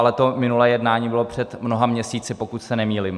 Ale to minulé jednání bylo před mnoha měsíci, pokud se nemýlím.